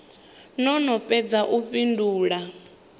no no fhedza u fhindula